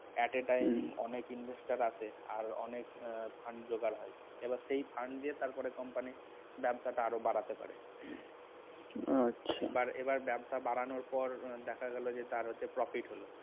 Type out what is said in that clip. at a time অনেক Investor আছে আর অনেক আহ fund জোগাড় হয় এবার সেই fund দিয়ে তারপরে company ব্যবসাটা আরও বাড়াতে পারে আচ্ছা. এবার এবার ব্যবসা বাড়ানোর পর দেখা গেছে যে তার হচ্ছে profit হল